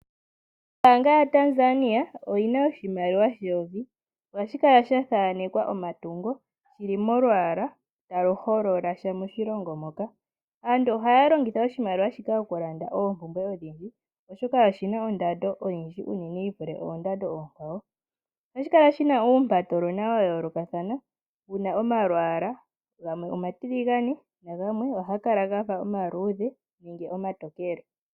Ombaanga yaTanzania, oyi na oshimaliwa sheyovi, ohashi kala sha thanekwa omatungo ge li molwaala ta lu holola sha moshingo moka. Aantu ohaya longitha oshimaliwa shika mokulanda oombumbwe odhindji, oshoka oshi na ondando oyindji yi vule oondando oonkwawo. Ohashi kala shi na uumpatolona wa yoolokathana, shi na omalwaala, gamwe omatiligane naganwe ohaga kala omaluudhe nomatokele.